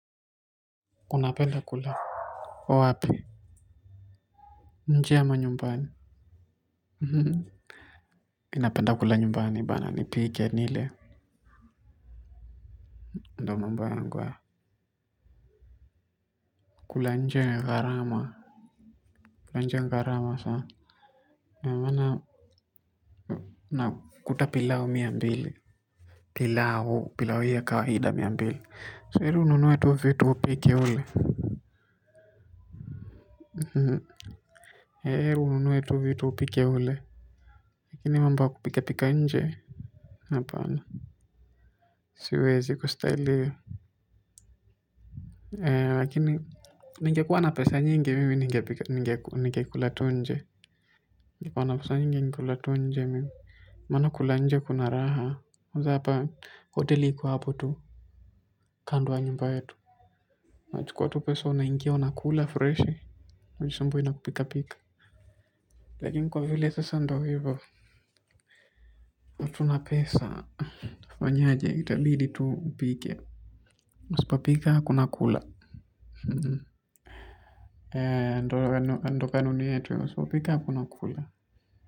Unapenda kula wapi? Nje ama nyumbani mi napenda kula nyumbani bana nipike nile ndo mambo yangu hayo kula nje ni gharama kula nje ni gharama saa maana unakuta pilau mia mbili pilau, pilau hii ya kawaida mia mbili si heri ununue tu upike ule ni heri ununue tu vitu upike ule lakini mambo ya kupika pika nje hapana siwezi kusteli ea wakini ningekuwa na pesa nyingi nyingi nyingi kulatunje. Nyingi kwa na pesa nyingi nyingi kulatunje mimi. Mana kulatunje kuna raha. Kwanza hapa hoteli iko hapo tu. Kando ya nyumba yetu. Unachukuwa tu pesa unaingia unakula fresh. Hujisumbui na kupika pika lakini kwa vile sasa ndo hivo. Watu na pesa. Utafanyaje, itabidi tu upike. Usipo pika hakuna kula. Uhum. Eee, ndo kanuni yetu ya. Usipopika hakuna kula.